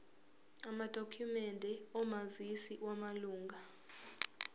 amadokhumende omazisi wamalunga